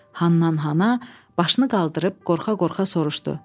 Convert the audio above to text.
Hannan-xana başını qaldırıb qorxa-qorxa soruşdu.